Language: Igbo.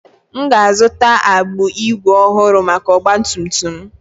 M ga-azụta agbụ ígwè ọhụrụ maka ọgba tum tum m.